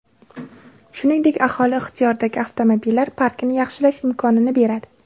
Shuningdek, aholi ixtiyoridagi avtomobillar parkini yaxshilash imkonini beradi.